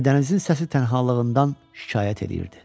Və dənizin səsi tənhalığından şikayət eləyirdi.